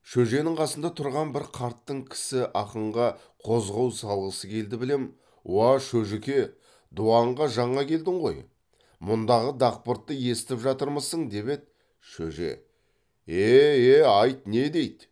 шөженің қасында тұрған бір қартың кісі ақынға қозғау салғысы келді білем уа шөжіке дуанға жаңа келдің ғой мұндағы дақбыртты естіп жатырмысың деп еді шөже е е айт не дейді